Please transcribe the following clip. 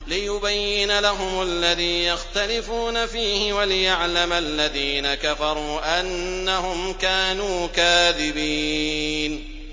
لِيُبَيِّنَ لَهُمُ الَّذِي يَخْتَلِفُونَ فِيهِ وَلِيَعْلَمَ الَّذِينَ كَفَرُوا أَنَّهُمْ كَانُوا كَاذِبِينَ